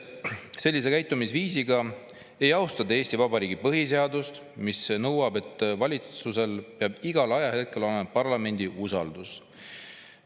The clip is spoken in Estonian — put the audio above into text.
Sellise käitumisviisiga ei austa te Eesti Vabariigi põhiseadust, mis nõuab, et valitsusel peab igal ajahetkel olema parlamendi usaldus.